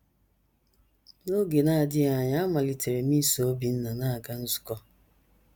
N’oge na - adịghị anya, amalitere m iso Obinna na - aga nzukọ.